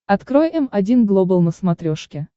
открой м один глобал на смотрешке